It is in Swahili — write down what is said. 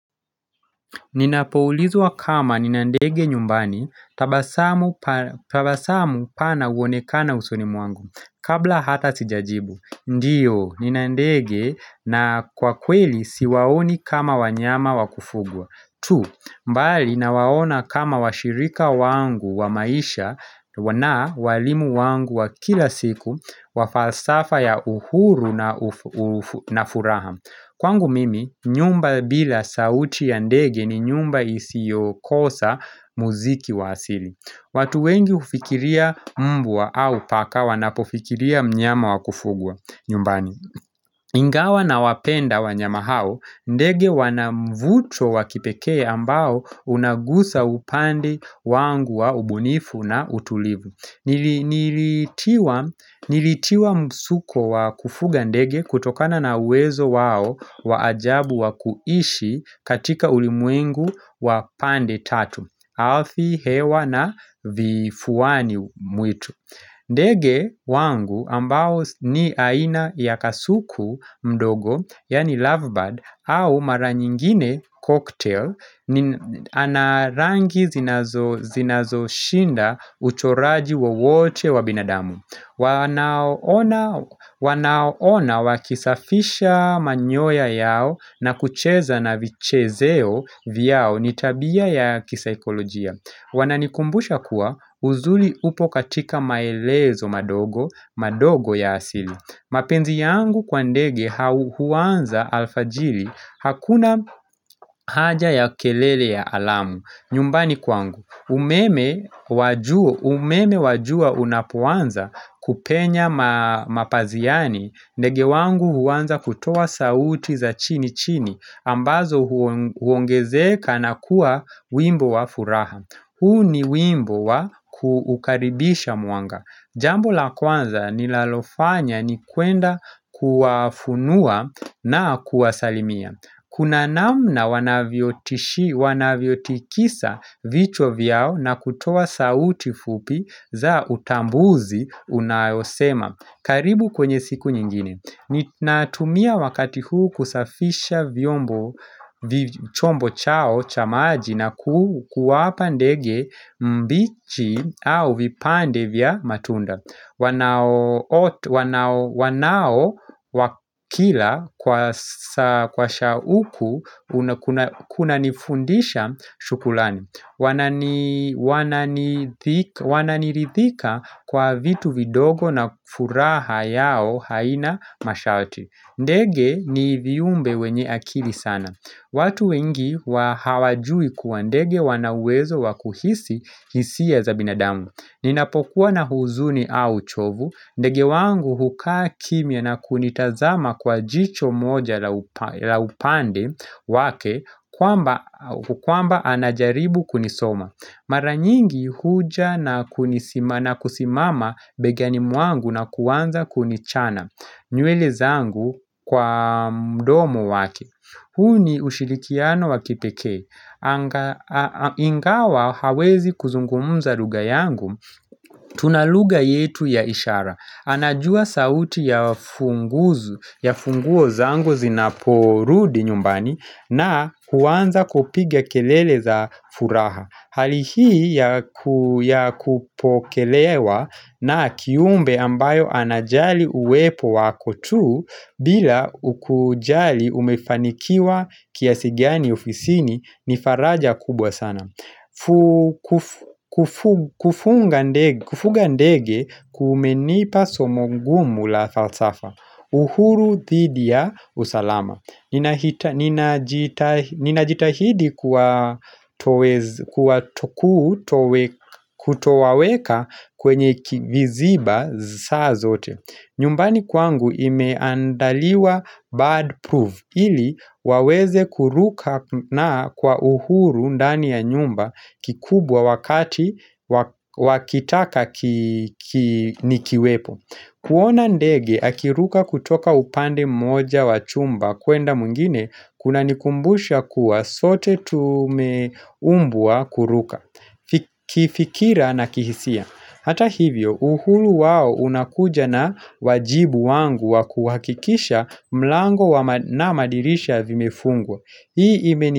Ninapoulizwa kama nina ndege nyumbani tabasamu pana uonekana usunimu wangu kabla hata sijajibu. Ndiyo, nina ndege na kwa kweli siwaoni kama wanyama wakufugwa. Two, mbali na waona kama washirika wangu wa maisha na walimu wangu wa kila siku wa falsafa ya uhuru na furaha Kwangu mimi, nyumba bila sauti ya ndege ni nyumba isiyokosa muziki wa asili. Watu wengi ufikiria mbwa au paka wanapofikiria mnyama wakufugwa nyumbani Ingawa na wapenda wanyama hao, ndege wanavuto wakipekee ambao unagusa upandi wangu wa ubunifu na utulivu. Nilitiwa msuko wa kufuga ndege kutokana na uwezo wao waajabu wa kuishi katika ulimwengu wa pande tatu, alfi hewa na vifuani mwitu. Ndege wangu ambao ni aina ya kasuku mdogo, yani lovebird, au mara nyingine cocktail, anarangi zinazoshinda uchoraji wa wote wabinadamu. Wanaona wakisafisha manyoya yao na kucheza na vichezeo vyao nitabia ya kisahikolojia. Wananikumbusha kuwa uzuli upo katika maelezo madogo ya asili mapenzi yangu kwa ndege huwanza alfajili hakuna haja ya kelele ya alamu nyumbani kwangu umeme wajua unapuanza kupenya mapaziani ndege wangu huanza kutoa sauti za chini chini ambazo huongezeka na kuwa wimbo wa furaha. Huu ni wimbo wa kuukaribisha muanga Jambo la kwanza ni lalofanya ni kuenda kuafunua na kuasalimia Kuna namna wanaviotikisa vituo vyao na kutoa sauti fupi za utambuzi unayosema, karibu kwenye siku nyingine ni natumia wakati huu kusafisha chombo chao cha maji na kuwapa ndege mbichi au vipande vya matunda wanao wakila kwa shauku kuna nifundisha shukrani Wananirithika kwa vitu vidogo na furaha yao haina masharti. Ndege ni viumbe wenye akili sana watu wengi hawajui kuwa ndege wanawezo wakuhisi hisia za binadamu Ninapokuwa na huzuni au chovu ndege wangu hukaa kimya na kunitazama kwa jicho moja la upande wake kwamba anajaribu kunisoma Mara nyingi huja na kusimama begani mwangu na kuwanza kunichana nywele zangu kwa mdomo wake Huni ushirikiano wa kipekee ingawa hawezi kuzungumza lugha yangu Tunalugha yetu ya ishara anajua sauti ya funguo zangu zinaporudi nyumbani na kuwanza kupiga kelele za furaha. Hali hii ya kupokelewa na kiumbe ambayo anajali uwepo wako tu bila ukujali umefanikiwa kiasi gani ofisini nifaraja kubwa sana kufunga ndege kumenipa somo ngumu la falsafa uhuru thidi ya usalama Ninajitahidi kwa tokuu kutowaweka kwenye viziba saa zote nyumbani kwangu imeandaliwa bad proof ili waweze kuruka na kwa uhuru undani ya nyumba kikubwa wakati wakitaka nikiwepo kuona ndege akiruka kutoka upande moja wa chumba kwenda mwingine kuna nikumbusha kuwa zote tumeumbwa kuruka kifikira na kihisia hata hivyo uhuru wao unakuja na wajibu wangu wa kuhakikisha mlango na madirisha vimefungwa ii meni.